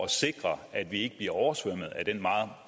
sikre at vi ikke bliver oversvømmet af den meget